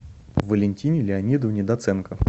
валентине леонидовне доценко